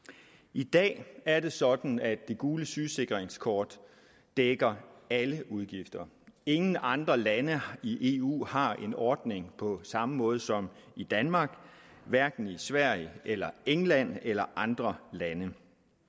i dag er det sådan at det gule sygesikringskort dækker alle udgifter ingen andre lande i eu har en ordning på samme måde som danmark hverken sverige eller england eller andre lande